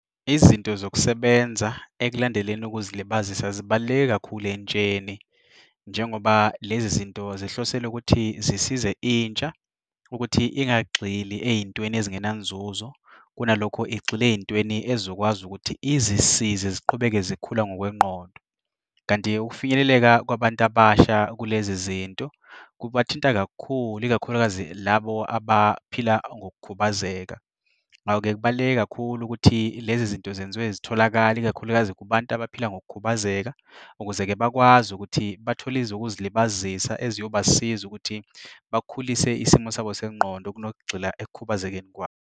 Izinto zokusebenza ekulandeleni ukuzilibazisa zibaluleke kakhulu entsheni njengoba lezi zinto zihlosele ukuthi zisize intsha ukuthi ingagxili ey'ntweni ezingenanzuzo, kunalokho igxile ey'ntweni ezokwazi ukuthi izisize ziqhubeke zikhula ngokwengqondo. Kanti-ke ukufinyeleleka kwabantu abasha kulezi izinto kubathinta kakhulu, ikakhulukazi labo abaphila ngokukhubazeka. Ngako-ke kubaluleke kakhulu ukuthi lezi zinto zenziwe zitholake, ikakhulukazi kubantu abaphila ngokukhubazeka ukuze-ke bakwazi ukuthi bathole ezokuzilibazisa eziyobasiza ukuthi bakhulise isimo sabo sengqondo kunokugxila ekukhubazekeni kwabo.